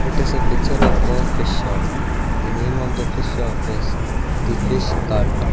it is a picture of a fish shop the name of the fish shop is the fish cart.